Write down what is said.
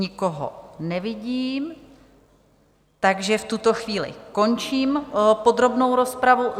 Nikoho nevidím, takže v tuto chvíli končím podrobnou rozpravu.